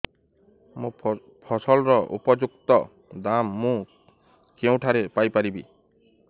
ମୋ ଫସଲର ଉପଯୁକ୍ତ ଦାମ୍ ମୁଁ କେଉଁଠାରୁ ପାଇ ପାରିବି